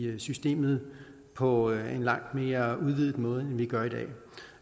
systemet på en langt mere udvidet måde end vi gør i dag